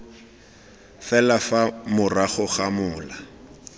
fela fa morago ga mola